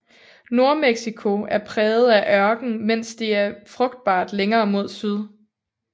Nordmexico er præget af ørken mens det er frugtbart længere mod syd